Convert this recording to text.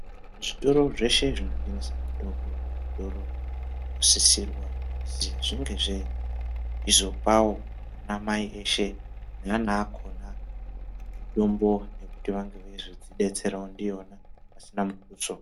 Zvitoro zveshe zvinotengese mitombo , zvitoro zvinosisirwa kuti zvinge zveizopawo ana mai eshe neana akona mitombo yekuti vange veizozvidetserawo ndiyona pasina mukutso.